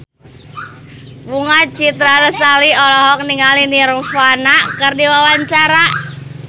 Bunga Citra Lestari olohok ningali Nirvana keur diwawancara